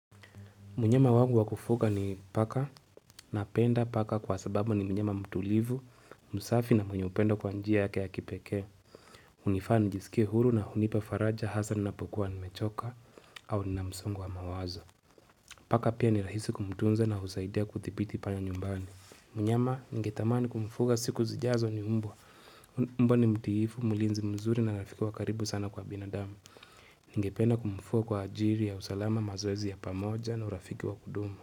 Mnyama wangu wakufuga ni paka na penda paka kwa sababu ni mnyama mtulivu, msafi na mwenye upenda kwa njia yake ya kipeke. Unifaa nijisikie huru na hunipa faraja Hasa napokuwa nimechoka au nina msongo wa mawazo. Paka pia ni rahisi kumtunza na husaidia kutipiti panyanyumbani. Mnyama ningetamani kumfuga siku zijazo ni umbo ni mtiifu, mulinzi mzuri na rafiki wakaribu sana kwa binadamu. Ngependa kumfuga kwa ajiri ya usalama mazoezi ya pamoja na urafiki wakudumu.